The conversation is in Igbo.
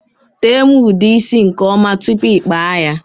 Tee m ude isi nke ọma tụpụ i kpaa ya!!!